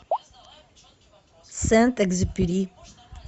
сент экзюпери